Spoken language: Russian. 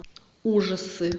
ужасы